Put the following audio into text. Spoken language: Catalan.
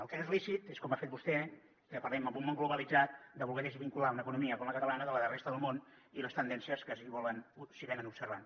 el que no és lícit és com ha fet vostè que parlem en un món globalitzat de voler desvincular una economia com la catalana de la de la resta del món i les tendències que s’hi observen